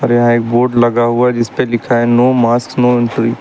और यहां एक बोर्ड लगा हुआ है जिस पे लिखा है नो मास्क नो एंट्री ।